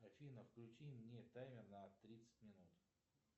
афина включи мне таймер на тридцать минут